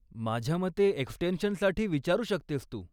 माझ्या मते एक्स्टेन्शनसाठी विचारू शकतेस तू.